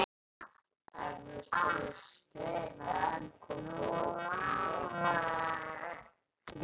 Eflaust hefur skilnaðurinn komið öllum í opna skjöldu.